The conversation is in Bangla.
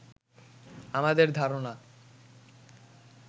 আমাদের ধারণা